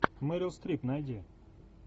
мэрил стрип найди